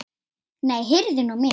Nei, heyrðu mig nú!